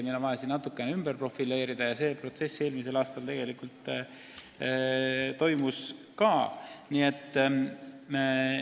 Meil on vaja tegevust natukene ümber profileerida ja see protsess eelmisel aastal tegelikult toimuski.